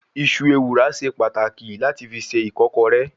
Iṣu ewùrà ṣe pàtàkì láti fi se ìkọ́kọrẹ́.